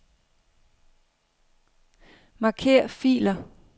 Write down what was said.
Marker filer.